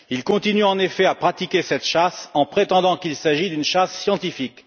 Il continue en effet à pratiquer cette chasse en prétendant qu'il s'agit d'une chasse scientifique.